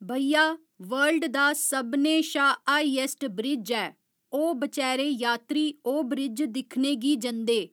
भैया वर्ल्ड सभनें शा हाइएस्ट ब्रिज ऐ ओह् बेचारे यात्री ओह् ब्रिज दिक्खने गी जंदे।